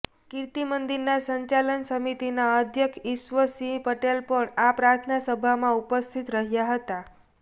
કીર્તિમંદિરના સંચાલન સમિતિના અઘ્યક્ષ ઇશ્વ સિંહ પટેલ પણ આ પ્રાર્થના સભામાં ઉપસ્થિત રહ્યાં હતાં